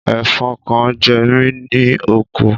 Ẹ̀fọn kan jẹ mí ní oko.